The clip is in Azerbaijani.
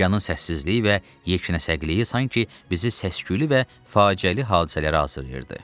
Okyanın səssizliyi və yeknəsəkliyi sanki bizi səs-küylü və faciəli hadisələrə hazırlayırdı.